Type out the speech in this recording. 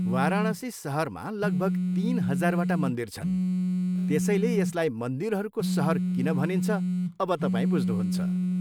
वाराणसी सहरमा लगभग तिन हजारवटा मन्दिर छन्, त्यसैले यसलाई मन्दिरहरूको सहर किन भनिन्छ, अब तपाईँ बुझ्नुहुन्छ।